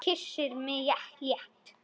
Kyssir mig létt.